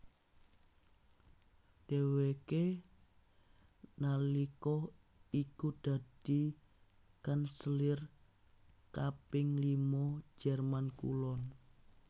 Dhèwèké nalika iku dadi kanselir kaping lima Jerman Kulon